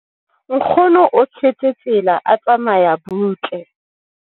Nkgono o tshetse tsela a tsamaya butle.